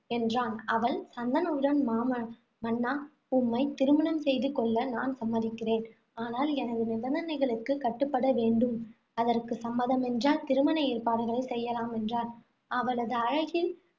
என்றான். அவள் சந்தனுவிடம், மாம~ மன்னா! உம்மைத் திருமணம் செய்து கொள்ள நான் சம்மதிக்கிறேன். ஆனால், எனது நிபந்தனைகளுக்கு கட்டுப்பட வேண்டும். அதற்கு சம்மதமென்றால், திருமண ஏற்பாடுகளைச் செய்யலாம், என்றாள். அவளது அழகில்